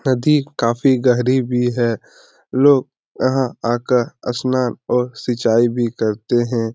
नदी काफी गहरी भी है। लोग यहाँ आकर स्नान और सिंचाई भी करते हैं।